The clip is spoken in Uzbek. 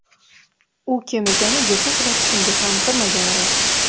U kim ekani yetti uxlab tushimga ham kirmagani rost.